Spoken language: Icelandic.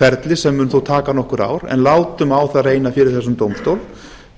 ferli sem mun þó taka nokkur ár en látum á það reyna fyrir þessum dómstól